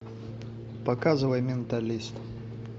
показывай менталист